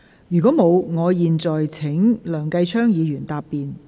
如果沒有，我現在請梁繼昌議員答辯。